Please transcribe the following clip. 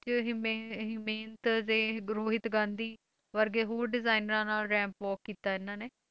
'ਚ ਹਿਮੇ~ ਹਿਮੇਂਤ ਦੇ ਰੋਹਿਤ ਗਾਂਧੀ ਵਰਗੇ ਹੋਰ ਡਿਜਾਇਨਰਾਂ ਨਾਲ ramp walk ਕੀਤਾ ਇਹਨਾਂ ਨੇ